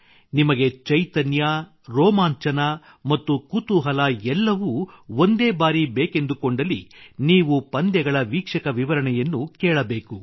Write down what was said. ನಿಮಗೆ ಚೈತನ್ಯ ರೋಮಾಂಚನ ಮತ್ತು ಕುತೂಹಲ ಎಲ್ಲವೂ ಒಂದೇ ಬಾರಿ ಬೇಕೆಂದುಕೊಂಡಲ್ಲಿ ನೀವು ಪಂದ್ಯಗಳ ವೀಕ್ಷಕ ವಿವರಣೆಯನ್ನು ಕೇಳಬೇಕು